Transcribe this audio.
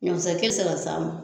Ɲɔmisakɛ bi se ka s'a ma